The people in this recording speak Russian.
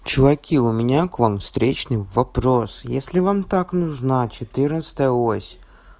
чуваки у меня к вам встречный вопрос если вам так нужно четырнадцатая ось